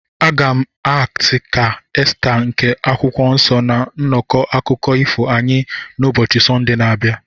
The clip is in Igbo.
Aga m akti ka Esta nke akwụkwọ nsọ na nnọkọ akụkọ ifo anyị n'ubochi Sọnde na-abịa.